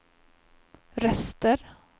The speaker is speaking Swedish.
röster